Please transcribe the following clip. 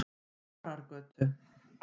Marargötu